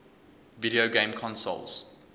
video game consoles